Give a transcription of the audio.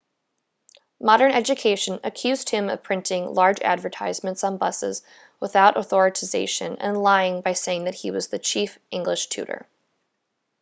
modern education accused him of printing large advertisements on buses without authorisation and lying by saying that he was the chief english tutor